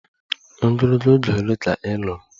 Ogologo oge ole ka ị lụrụ?